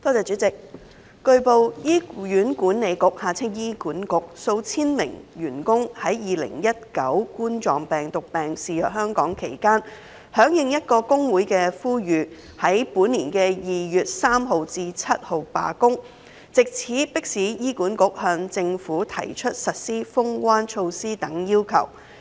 主席，據報，醫院管理局數千名員工於2019冠狀病毒病肆虐香港期間，響應一個工會的呼籲於本年2月3日至7日罷工，藉此迫使醫管局向政府提出實施"封關"措施等要求。